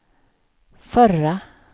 förra